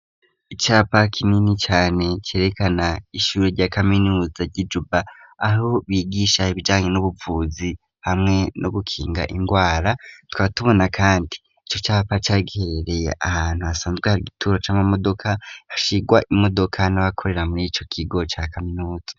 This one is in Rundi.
Icapa kinini cane cerekana ishuri rya kaminuza ry'ijuba aho bigisha hivyanye n'ubuvuzi hamwe no gukinga ingwara twatubona, kandi ico capa cagiherereye ahantu hasanzwea aha igituro c'amamodoka hashirwa imodoka n'abakorera muri co kigo ca kaminuza.